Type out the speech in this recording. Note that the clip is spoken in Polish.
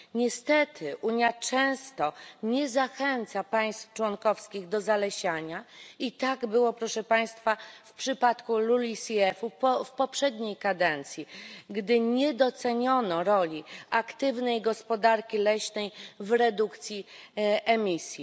Niestety Unia często nie zachęca państw członkowskich do zalesiania i tak było, proszę Państwa, w przypadku LULUCF u w poprzedniej kadencji, gdy nie doceniono roli aktywnej gospodarki leśnej w redukcji emisji.